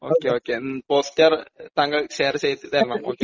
okay okay poster താങ്കൾ share ചെയ്തുതരണം